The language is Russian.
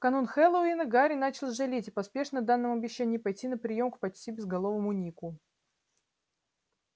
в канун хэллоуина гарри начал жалеть о поспешно данном обещании пойти на приём к почти безголовому нику